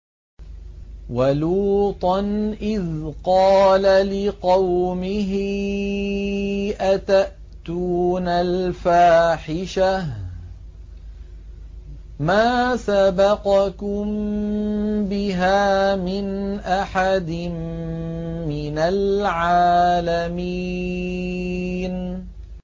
وَلُوطًا إِذْ قَالَ لِقَوْمِهِ أَتَأْتُونَ الْفَاحِشَةَ مَا سَبَقَكُم بِهَا مِنْ أَحَدٍ مِّنَ الْعَالَمِينَ